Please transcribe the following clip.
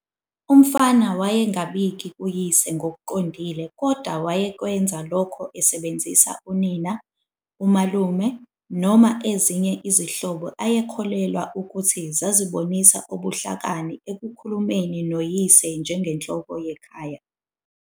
Umfana wayengabiki kuyise ngokuqondile kodwa wayekwenza lokho esebenzisa unina, umalume, noma ezinye izihlobo ayekholelwa ukuthi zazibonisa ubuhlakani ekukhulumeni noyise njengenhloko yekhaya.